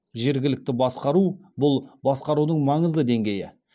жергілікті басқару бұл басқарудың маңызды деңгейі